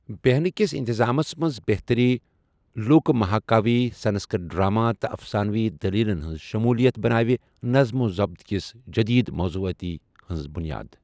بیٚہنہٕ کِس انتظامَس منٛز بہتٔری، لوٗکہٕ مہاکاوی، سنسکرت ڈراما، تہٕ افسانوی دٔلیٖلَن ہِنٛز شموٗلیت بنٲو نظم و ضبط کِس جٔدیٖد موضوعٲتی ہِنٛز بُنیاد۔